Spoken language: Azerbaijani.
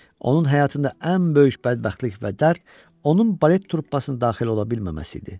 Onun həyatında ən böyük bədbəxtlik və dərd onun balet truppasına daxil ola bilməməsi idi.